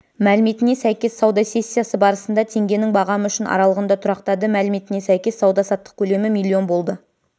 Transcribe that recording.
мәліметіне сәйкес сауда сессиясы барысында теңгенің бағамы үшін аралығында тұрақтады мәліметіне сәйкес сауда-саттық көлемі миллион болды